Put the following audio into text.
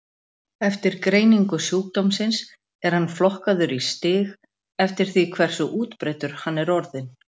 Eftir greiningu sjúkdómsins er hann flokkaður í stig eftir því hversu útbreiddur hann er orðinn.